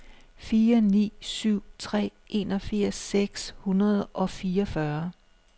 fire ni syv tre enogfirs seks hundrede og fireogfyrre